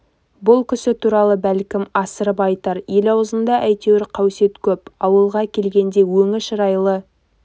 бұл кісі туралы бәлкім асырып айтар ел аузында әйтеуір қаусет көп ауылға келгенде өңі шырайлы